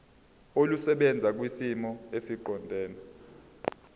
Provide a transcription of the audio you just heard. olusebenza kwisimo esiqondena